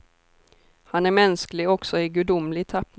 Han är mänsklig också i gudomlig tappning.